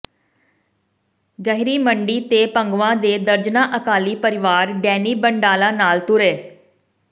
ਗਹਿਰੀ ਮੰਡੀ ਤੇ ਭੰਗਵਾਂ ਦੇ ਦਰਜਨਾ ਅਕਾਲੀ ਪਰਿਵਾਰ ਡੈਨੀ ਬੰਡਾਲਾ ਨਾਲ ਤੁਰੇ